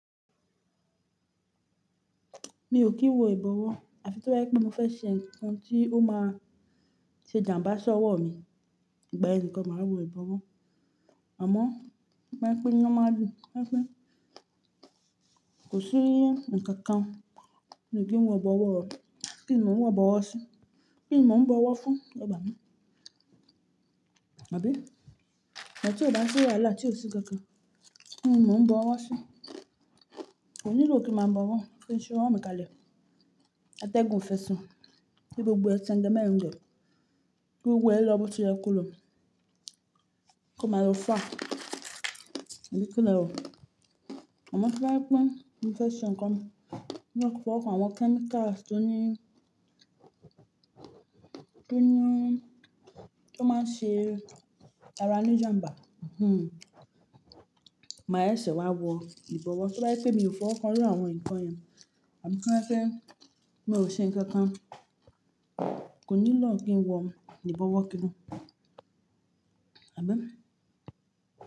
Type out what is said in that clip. Mi ò kí ń wọ ìbọwọ́. Àfi to bá fẹ́ je pé mo fẹ́ ṣe nǹkan tí ó máa ṣe jàmbá sí ọwọ́ mi ìgbà yen nikan máa wọ egba ọwọ́. Àmọ́ to ba je wipè ni normally. Wọn fẹ́ kò sí nǹkan kan mi kí n wọ egba ọwọ́, kí n mo n wọ egba ọwọ́ sí, kí ni mo ń bọwọ́ fún egba mi. Àbí? Tí ó bá ṣi wàhálà tí ó sì nnkankan, kí n mo ń bọwọ́ sí. Kò nílò kí màá bọwọ́, kí n ṣi ọwọ́ mi kalẹ̀. Atẹ́gun fẹ́si kí gbogbo ẹ sẹ̀ńgẹ mẹ́ńgẹ. Kí gbògbo e lọ́ bọ̀ ti yẹ kò lọ. Kò máa lọ fá. Àbí kí lẹ rò? Àmọ́ to bá jẹ́ pé mo fẹ́ ṣe nǹkan mi, mọ́ maa koko fọwọ́ kan àwọn kẹ́míkà tó ní tó máa ṣe ara ní jàmbá, màá seṣẹ̀ wá wọ ìbọwọ́. Tí bá jẹ́ pé mi ò fọwọ́ kan iru àwọn nǹkan yẹn, àbí ko je pẹ́ mi ó ṣe nǹkan kan, kò nílò kí n wọ ìbọwọ́ kankan. Àbí?